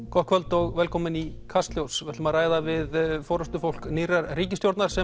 gott kvöld og velkomin í Kastljós við ætlum að ræða við forystufólk nýrrar ríkisstjórnar sem